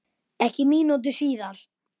Ekki mínútu síðar